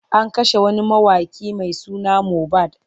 An kashe wani mawaƙi mai suna Mobad.